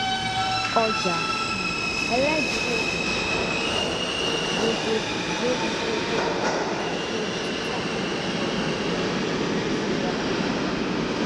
ọjà um ẹlẹdìnwó àdínkù um gbogbogbò lórí owó ọjà tàbí ohun títà nínú ọjà um ìṣúra